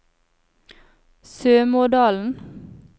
Sømådalen